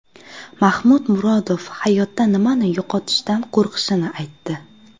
Mahmud Murodov hayotda nimani yo‘qotishdan qo‘rqishini aytdi.